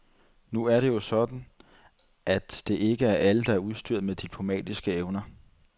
Nu er det jo engang sådan, at det ikke er alle, der er udstyret med diplomatiske evner.